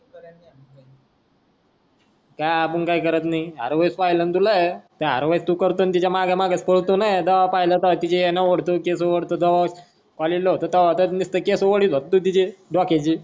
हा आपण काही करत नाही हा होय पहिलय न तुला अर होय करतो तू करतोय अण तिच्या माग माग पडतोय जेव्या पाहल तेवा तिच्या वेण्या ओढतो केस ओढतो. जेव्या collage होतो तेव्या तर निसत केस ओडित होता तू तिचे डोक्याचे.